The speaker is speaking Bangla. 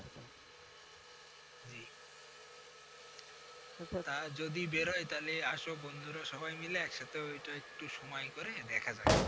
যদি বেরোয় তাহলে আসো বন্ধুরা সবাই মিলে ওইটা একটু সময় করে দেখা যাক।